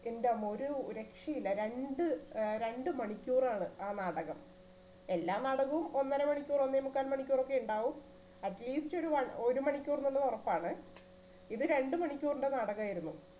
എന്റമ്മോ ഒരു രക്ഷയില്ല രണ്ട് ആ രണ്ട് മണിക്കൂറാണ് ആ നാടകം. എല്ലാ നാടകവും ഒന്നരമണിക്കൂർ ഒന്നേമുക്കാൽ മണിക്കൂർ ഒക്കെ ഉണ്ടാകും atleast ഒരു one ഒരു മണിക്കൂറിനുള്ളിൽ ഉറപ്പാണ് ഇത് രണ്ടുമണിക്കൂറിന്റെ നാടകം ആയിരുന്നു.